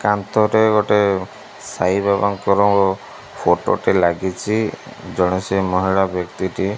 କାନ୍ଥରେ ଗୋଟେ ସାଇବାବା ଙ୍କର ଫଟୋ ଟେ ଲାଗିଛି ଜଣେ ସେ ମହିଳା ବ୍ୟକ୍ତିଟି --